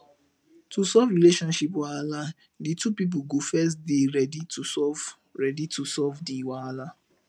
to solve relationship wahala di two pipo go first dey ready to solve ready to solve di wahala